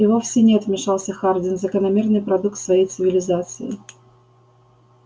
и вовсе нет вмешался хардин закономерный продукт своей цивилизации